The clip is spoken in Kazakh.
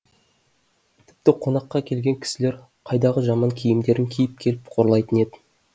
тіпті қонаққа келген кісілер қайдағы жаман киімдерін киіп келіп қорлайтын еді